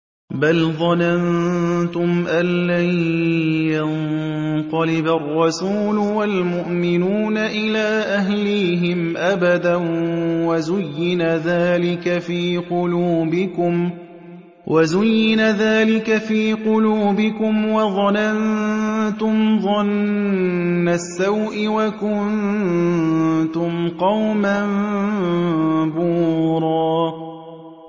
بَلْ ظَنَنتُمْ أَن لَّن يَنقَلِبَ الرَّسُولُ وَالْمُؤْمِنُونَ إِلَىٰ أَهْلِيهِمْ أَبَدًا وَزُيِّنَ ذَٰلِكَ فِي قُلُوبِكُمْ وَظَنَنتُمْ ظَنَّ السَّوْءِ وَكُنتُمْ قَوْمًا بُورًا